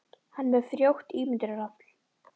Hann er með frjótt ímyndunarafl.